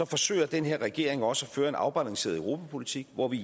forsøger den her regering også at føre en afbalanceret europapolitik hvor vi